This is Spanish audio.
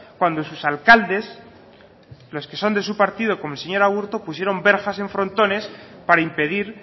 cuando sus alcaldes los que son de su partido como el señor aburtu pusieron verjas en frontones para impedir